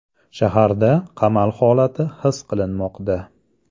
Shaharda qamal holati his qilinmoqda.